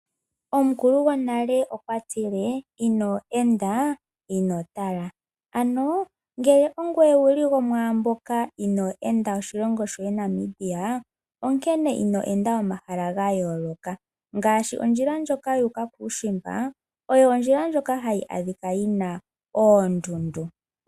Omukulu gwonale okwa tile inoo enda ino tala, ano ngele ongoye wuli gomwaambyoka inoo ende oshilongo Namibia , onkene ino enda omahala gayooloka ngaashi ondjila ndjoka yuuka kuushimba oyo ondjila ndjoka hayi adhika yina oondundu.